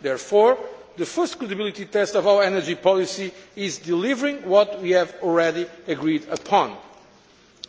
Therefore the first credibility test of our energy policy is delivering what we have already agreed upon.